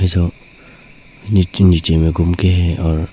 जो नीचे नीचे में घूम के है और--